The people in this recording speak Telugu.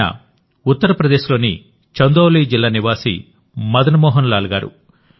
ఆయన ఉత్తరప్రదేశ్లోని చందౌలీ జిల్లా నివాసి మదన్ మోహన్ లాల్ గారు